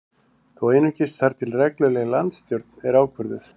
Þó einungis þar til að regluleg landsstjórn er ákvörðuð